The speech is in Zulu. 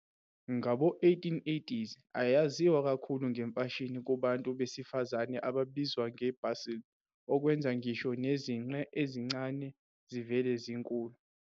Ngabo-1880s ayaziwa kakhulu ngemfashini kubantu besifazane ababizwa nge-bustle, okwenza ngisho nezinqe ezincane zivele zinkulu.